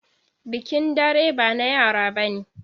Bikin dare ba na yara bane.